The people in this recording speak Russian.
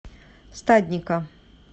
стадника